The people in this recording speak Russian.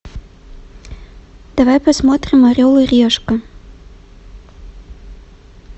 давай посмотрим орел и решка